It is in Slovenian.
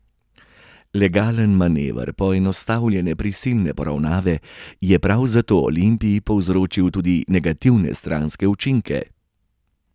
Legalen manever poenostavljene prisilne poravnave je prav zato Olimpiji povzročil tudi negativne stranske učinke.